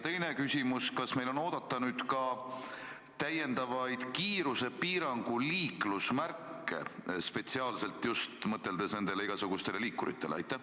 Teine küsimus: kas meil on oodata ka täiendavaid kiirusepiirangu liiklusmärke, spetsiaalselt mõeldes nendele igasugustele liikuritele?